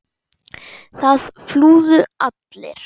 Það flúðu allir.